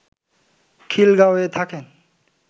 খিলগাঁওয়ে থাকেন